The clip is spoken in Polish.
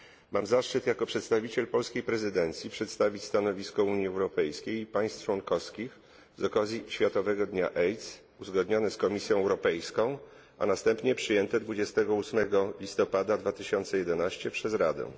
Mam zaszczyt jako przedstawiciel polskiej prezydencji przedstawić stanowisko Unii Europejskiej i państw członkowskich z okazji Światowego Dnia AIDS, uzgodnione z Komisją Europejską a następnie przyjęte 28 listopada 2011 przez Radę.